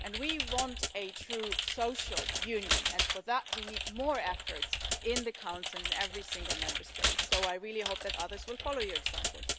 We want a true social union, and for that we need more effort in the Council and in every single Member State, so I really hope that others will follow your example.